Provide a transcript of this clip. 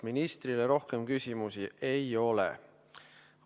Ministrile rohkem küsimusi ei ole.